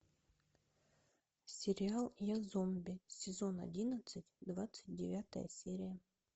сериал я зомби сезон одиннадцать двадцать девятая серия